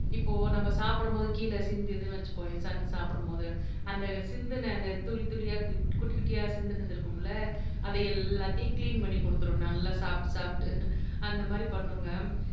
இப்போ நாம சாப்பிடும்போது கீழ சிந்துதுன்னு வச்சுக்கோயேன் தண்ணி சாப்பிடும்போது அந்த சிந்துன துளி துளியா குட்டிகுட்டியா சிந்தினது இருக்கும் இல்ல அதை எல்லாத்தையும் கிளீன் பண்ணிக்குடுத்துரும் நல்லா சாப்பிட்டு சாப்பிட்டு அந்த மாதிரி பண்ணுங்க